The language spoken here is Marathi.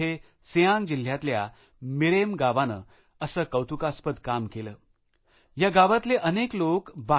तिथे सियांग जिल्ह्यातल्या मिरेम गावाने असे कौतुकास्पद काम केले जे संपूर्ण भारतासाठी एक आदर्श ठरू शकेल